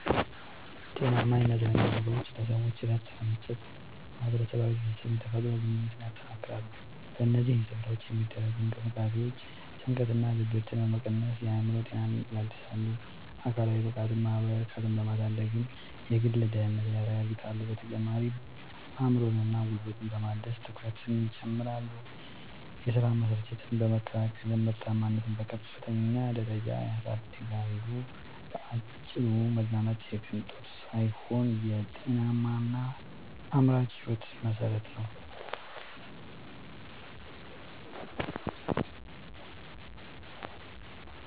ጤናማ የመዝናኛ ቦታዎች ለሰዎች እረፍት በመስጠት፣ ማኅበራዊ ትስስርንና የተፈጥሮ ግንኙነትን ያጠናክራሉ። በእነዚህ ስፍራዎች የሚደረጉ እንቅስቃሴዎች ጭንቀትንና ድብርትን በመቀነስ የአእምሮ ጤናን ያድሳሉ፤ አካላዊ ብቃትንና ማኅበራዊ እርካታን በማሳደግም የግል ደህንነትን ያረጋግጣሉ። በተጨማሪም አእምሮንና ጉልበትን በማደስ ትኩረትን ይጨምራሉ፤ የሥራ መሰልቸትን በመከላከልም ምርታማነትን በከፍተኛ ደረጃ ያሳድጋሉ። ባጭሩ መዝናናት የቅንጦት ሳይሆን የጤናማና አምራች ሕይወት መሠረት ነው።